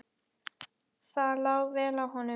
Það lá vel á honum.